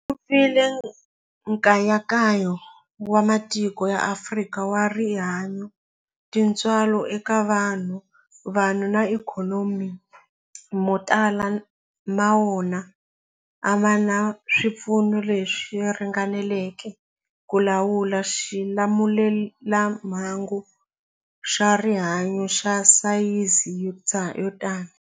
Ku vile nkayakayo wa matiko ya Afrika wa rihanyu, tintswalo eka vanhu, vanhu na ikhonomi, mo tala ma wona a ma na swipfuno leswi ringaneleke ku lawula xilamulelamhangu xa rihanyu xa sayizi yo tani.